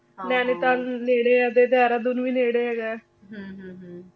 ਨਾਲੀ ਤਾਣੁ ਨੇਰੇ ਆਯ ਨੂ ਵੀ ਨੀਰੇ ਹੇਗਾ ਆਯ ਹਨ ਹਨ ਹਨ ਹਾਂ ਨਾਲੀ ਵਾਦਿਯ ਠੰਡਾ ਅਹ